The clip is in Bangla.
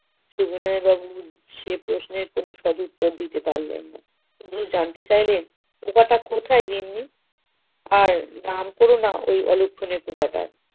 সবিনয় বাবু সে প্রশ্নের কোন সৎ উত্তর দিতে পারলেন নাহ। তিনি জানতে চাইলেন পোকাটা কোথায় গিন্নী? আর নাম কোরো নাহ ওই অলক্ষণে পোকাটার।